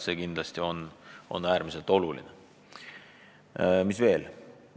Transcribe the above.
Mis veel?